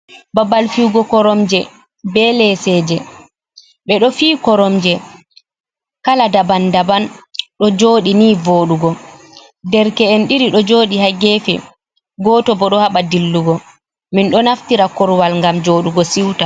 Babal fiyugo koromje be leseje ɓeɗo fiyi koromje kala daban daban ɗo joɗi ni vodugo derke'en ɗiɗi ɗo joɗi ha gefe goto bo do haba dillugo min do naftira korowal ngam jodugo siuta.